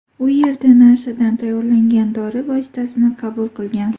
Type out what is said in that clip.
U yerda nashadan tayyorlangan dori vositasini qabul qilgan.